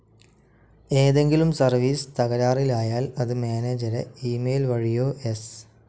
ഏതെങ്കിലും സർവീസ്‌ തകരാറിലായാൽ അത് മാനേജരെ ഇമെയിൽ വഴിയോ എസ്.